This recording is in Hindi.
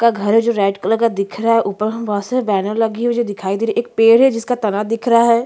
ऊपर घर है जो रेड कलर का दिख रहा है ऊपर वहाँ पे एक बैनर लगी हुई जो दिखाई दे रही है एक पेड़ है जिसका तना दिख रहा है।